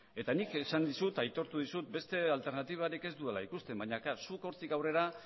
eta nik esan dizut aitortu dizut beste alternatibarik ez dudala ikusten baina zuk hortik aurrera